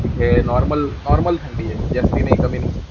इथे इथे normal थंडी आहे. जास्त नाही, कमी नाही.